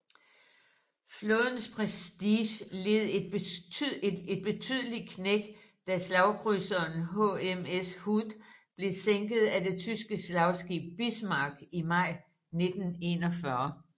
Flådens prestige led et betydeligt knæk da slagkrydserern HMS Hood blev sænket af det tyske slagskib Bismarck i maj 1941